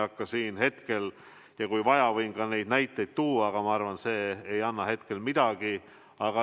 Kui on vaja, võin ka neid näiteid tuua, aga ma arvan, et see ei anna hetkel midagi.